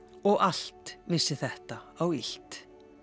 og allt vissi þetta á illt